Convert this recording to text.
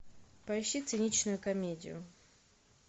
поищи циничную комедию